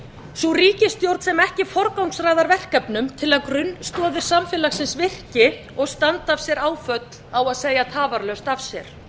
sú ríkisstjórn sem ekki forgangsraðar verkefnum til að grunnstoðir samfélagsins virki og standi af sér áföll á að segja tafarlaust af sér